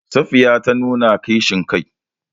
Safiya ta nuna kishin kai.